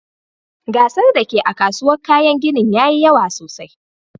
Gasar da ke a'kasuwan kayan ginin yayi yawa sosai.